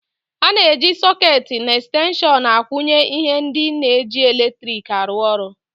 Ana eji sôôketi na extenshon akwunye ihe ndị na -eji latriki arụ ọrụ.